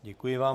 Děkuji vám.